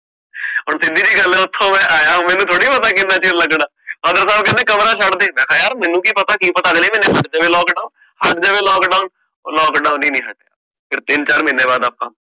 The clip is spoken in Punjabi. ਹੁਣ ਸਿਧਿ ਜੀ ਗੱਲ ਆ ਓਥੋਂ ਮੈਂ ਆਯਾ ਮੈਨੂੰ ਥੋੜੀ ਪਤਾ ਕਿੰਨਾ ਚਿਰ ਲੱਗਣਾ father ਸਾਬ ਕਹਿੰਦੇ ਯਰ ਕਮਰਾ ਛੱਡ ਦੇ ਮੈਂ ਕਹ ਯਰ ਮੈਨੂੰ ਕਿ ਪਤਾ ਕਿ ਪਤਾ ਅਗਲੇ ਮਹੀਨੇ ਹਟ ਜਾਵੇ Lockdown ਊ lockdown ਹੀ ਨੀ ਹਟੀਐ ਤਿੰਨ ਚਾਰ ਮਹੀਨੇ ਬਾਅਦ ਆਪਾ